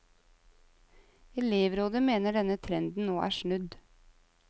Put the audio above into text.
Elevrådet mener denne trenden nå er snudd.